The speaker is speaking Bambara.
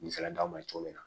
Misala d'aw ma cogo min na